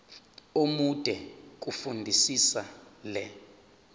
omude fundisisa le